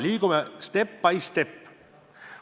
Liigume step by step.